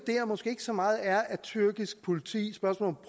måske ikke så meget er tyrkisk politi